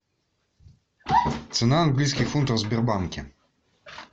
цена английских фунтов в сбербанке